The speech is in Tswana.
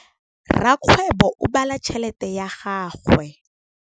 Rakgwêbô o bala tšheletê ya gagwe.